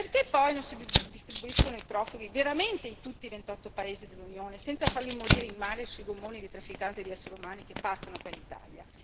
Perché poi non si distribuiscono i profughi veramente in tutti i 28 paesi dell'Unione senza farli morire in mare sui gommoni dei trafficanti di essere umani che partono per l'Italia?